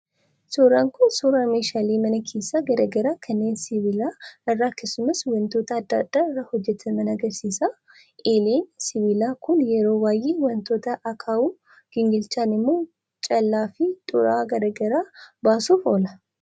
Suuraan kun suuraa meeshaalee mana keessaa garaagaraa kanneen sibiila irraa akkasumas wantoota adda addaa irraa hojjataman agarsiisa. Eeleen sibiilaa kun yeroo baay'ee wantoota akaawuu, gingilchaan immoo callaa fi xuraawaa gargar baasuuf oola.